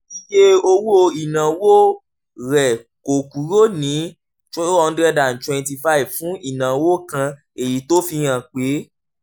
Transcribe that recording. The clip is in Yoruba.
iye owó ìnáwó rẹ̀ kò kúrò ní n two hundred twenty five fún ìnáwó kan èyí tó fi hàn pé